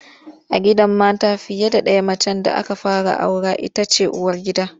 A gidan mata fiye ɗaya macen da aka fara aura ita ce uwargida.